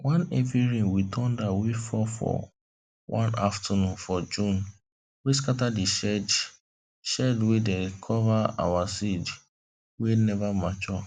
one heavy rain with thunder wey fall for one afternoon for june wey scatter the shed shed wey dey cover our seed wey never mature